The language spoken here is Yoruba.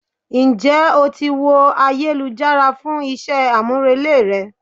Ń jẹ́ o ti wo ayélujára fún iṣẹ́ àmúrelé rẹ?